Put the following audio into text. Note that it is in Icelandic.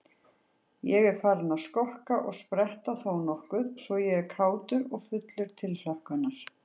Ég er farinn að skokka og spretta þónokkuð svo ég er kátur og fullur tilhlökkunar.